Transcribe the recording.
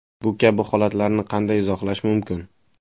Bu kabi holatlarni qanday izohlash mumkin?